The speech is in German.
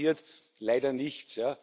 Da passiert leider nichts.